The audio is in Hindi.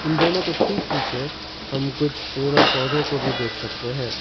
इन दोनों के ठीक पीछे हम कुछ पेड़ और पौधों को भी देख सकते हैं।